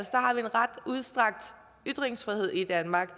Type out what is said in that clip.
har vi en ret udstrakt ytringsfrihed i danmark